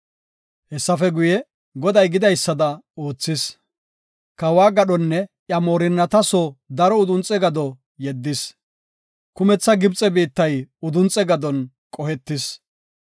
Hessafe guye, Goday gidaysada oothis. Kawa gadhonne iya moorinnata soo daro udunxe gado yeddis. Kumetha Gibxe biittay udunxe gadon qohetis.